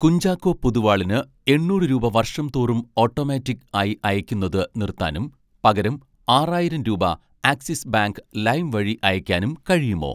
കുഞ്ചാക്കോ പൊതുവാളിന് എണ്ണൂറ് രൂപ വർഷം തോറും ഓട്ടോമാറ്റിക്ക് ആയി അയയ്ക്കുന്നത് നിർത്താനും, പകരം ആറായിരം രൂപ ആക്സിസ് ബാങ്ക് ലൈം വഴി അയയ്ക്കാനും കഴിയുമോ